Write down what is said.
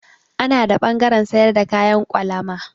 Ana da ɓangaren sayar da kayan kwalama.